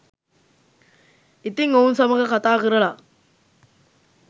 ඉතින් ඔවුන් සමඟ කතා කරල